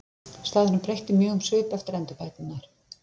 Staðurinn breytti mjög um svip eftir endurbæturnar.